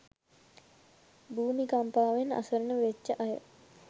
භූමි කම්පාවෙන් අසරන වෙච්ච අය